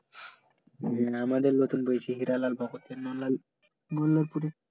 হম আমাদের নতুন পরেছে হিরালাল মল্লারপুরে